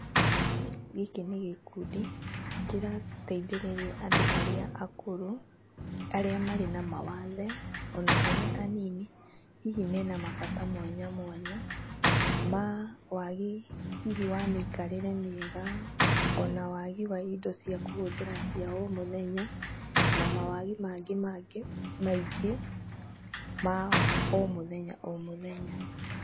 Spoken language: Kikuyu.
Gĩkĩ nĩ gĩkundi kĩrateithĩrĩria andũ arĩa akũrũ arĩa marĩ na mawathe ona arĩa anini, hihi mena mabata mwanya mwanya ma wagi hihi wa mĩikarĩre mĩega ona wagi wa indo cia kũhũthĩra cia o mũthenya na mawagi mangĩ mangĩ maingĩ ma o mũthenya o mũthenya.